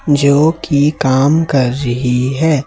जो कि काम कर रही है।